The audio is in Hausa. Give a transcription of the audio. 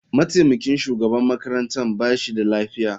Mataimakin shugaban makarantar ba shi da lafiya.